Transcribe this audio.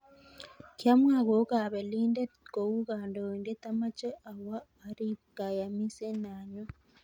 Kiamwa kou kapelindet, kou kandoindet amache awo arib kayamiset nanyun.